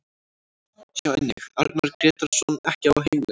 Sjá einnig: Arnar Grétarsson ekki á heimleið